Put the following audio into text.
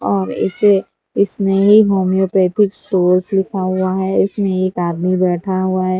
और इसे Snehi homeopathic stores लिखा हुआ है इसमें एक आदमी बैठा हुआ है।